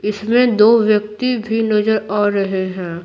इसमें दो व्यक्ति भी नजर आ रहे हैं।